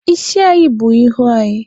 Isi anyị bù ihu anyị